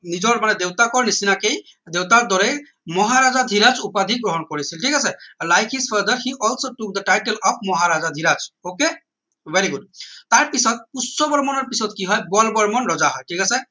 নিজৰ মানে দেউতাকৰ নিচিনা কেই দেউতাকৰ দৰেই মহাৰাজ ধিৰাজ উপাধি গ্ৰহণ কৰিছিল ঠিক আছে like his father he also the title of Maharaja Dhiraj ok very good তাৰ পিছত পুষ্য বৰ্মনৰ পিছত কি হয় বল বৰ্মন ৰজা হয় ঠিক আছে